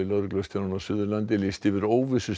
lögreglustjórann á Suðurlandi lýst yfir